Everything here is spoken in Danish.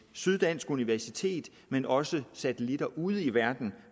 syddansk universitet men også satelitter ude i verden